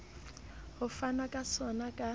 ho fanwa ka sona ka